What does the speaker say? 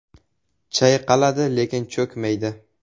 “Chayqaladi lekin cho‘kmaydi”.